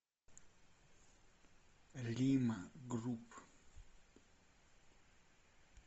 лима групп